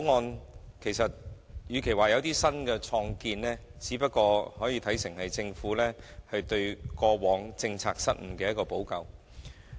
與其說這項《條例草案》有新建樹，不如說是政府對過往的政策失誤作出補救。